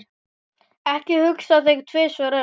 Ekki hugsa þig tvisvar um.